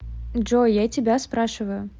джой я тебя спрашиваю